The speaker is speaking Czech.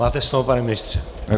Máte slovo, pane ministře.